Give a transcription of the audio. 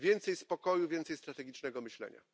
Więcej spokoju, więcej strategicznego myślenia.